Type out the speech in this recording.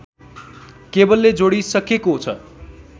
केबुलले जोडिसकेको छ